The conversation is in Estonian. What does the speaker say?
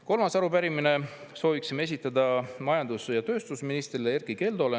Kolmanda arupärimise sooviksime esitada majandus- ja tööstusministrile Erkki Keldole.